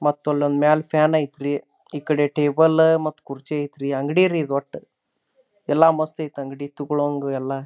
ಮತ್ತು ಅಲೊಂದು ಮ್ಯಾಗ್ ಫ್ಯಾನ್ ಐತ್ರಿ ಈಕಡೆ ಟೇಬಲ್ ಮತ್ತು ಕುರ್ಚಿ ಐತ್ರಿ. ಅಂಗಡಿ ರೀ ಇದು ಒಟ್ಟು ಎಲ್ಲ ಮಸ್ತ್ ಐತೆ ರೀ ಅಂಗಡಿ ತೋಗಳಂಗ ಎಲ್ಲ--